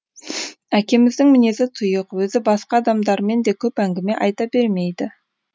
әкеміздің мінезі тұйық өзі басқа адамдармен де көп әңгіме айта бермейді